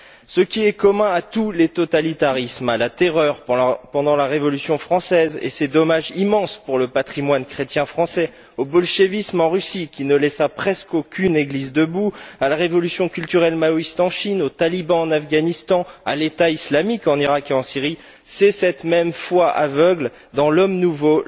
Ce qui est commun à tous les totalitarismes de la Terreur pendant la Révolution française, et ses dommages immenses pour le patrimoine chrétien français, au bolchévisme en Russie, qui ne laissa presqu'aucune église debout, en passant par la révolution culturelle maoïste en Chine, les talibans en Afghanistan ou le groupe État islamique en Iraq et en Syrie c'est cette même foi aveugle dans l'homme nouveau,